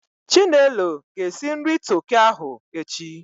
Chinelo ga-esi nri toki ahụ echi.